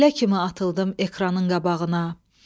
Güllə kimi atıldım ekranın qabağına.